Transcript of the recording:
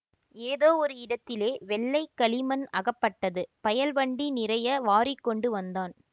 ஏதோ ஒரு இடத்திலே வெள்ளை களிமண் அகப்பட்டது பயல் வண்டி நிறைய வாரிக்கொண்டு வந்தான்